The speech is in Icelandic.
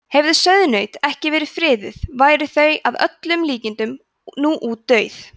hefðu sauðnaut ekki verið friðuð væru þau að öllum líkindum nú útdauð